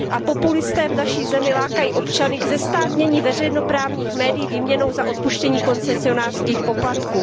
Populisté v naší zemi lákají občany k zestátnění veřejnoprávních médií výměnou za odpuštění koncesionářských poplatků.